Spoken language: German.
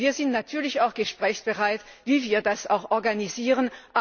Wir sind natürlich auch gesprächsbereit, wie wir das organisieren.